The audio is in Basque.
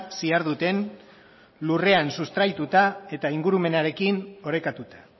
ziharduten lurrean sustraituta eta ingurumenarekin orekatuta